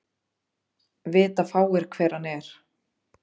Vita fáir hver hann er